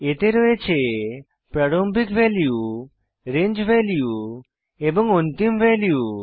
এতে রয়েছে প্রারম্ভিক ভ্যালু রেঞ্জ ভ্যালু এবং অন্তিম ভ্যালু